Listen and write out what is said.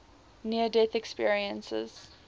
near death experiences